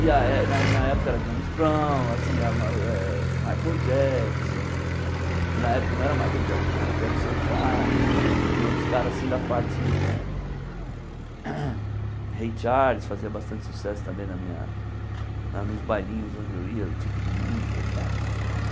E a é na minha época era James Brown, assim eh a ma eh Michael Jackson, que na época não era Michael Jackson, era Jackson five e outros caras assim da parte né... Ray Charles fazia bastante sucesso também na minha nos bailinhos onde eu ia, no tipo de música e tal.